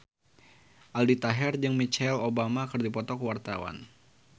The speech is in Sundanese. Aldi Taher jeung Michelle Obama keur dipoto ku wartawan